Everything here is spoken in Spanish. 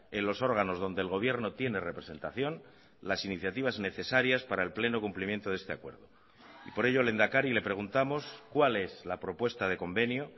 en los órganos donde el gobierno tiene representación las iniciativas necesarias para el pleno cumplimiento de este acuerdo y por ello lehendakari le preguntamos cuál es la propuesta de convenio